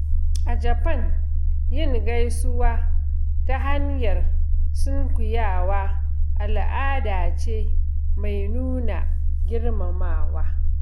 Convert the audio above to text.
A Japan, yin gaisuwa ta hanyar sunkuyawa al'ada ce mai nuna girmamawa.